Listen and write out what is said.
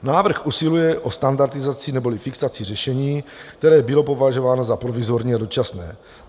Návrh usiluje o standardizaci neboli fixaci řešení, které bylo považováno za provizorní a dočasné.